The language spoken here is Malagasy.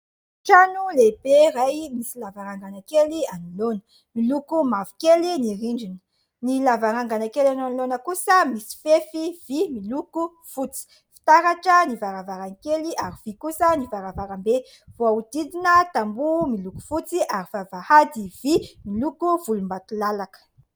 Trano lehibe iray misy lavarangana kely anoloana. Miloko mavokely ny rindrina, ny lavarangana kely anoloana kosa misy fefy vy miloko fotsy, fitaratra ny varavarankely ary vy kosa ny varavarambe, voahodidina tamboho miloko fotsy ary vavahady vy miloko volombatolalaka.